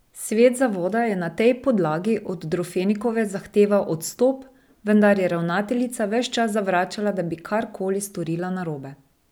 Svet zavoda je na tej podlagi od Drofenikove zahteval odstop, vendar je ravnateljica ves čas zavračala, da bi kar koli storila narobe.